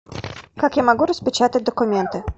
как я могу распечатать документы